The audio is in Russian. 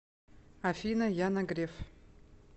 афина яна греф